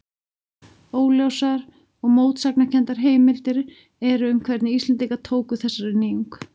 Óljósar og mótsagnakenndar heimildir eru um hvernig Íslendingar tóku þessari nýjung.